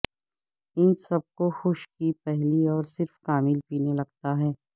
ان سب کو خوش کی پہلی اور صرف کامل پینے لگتا ہے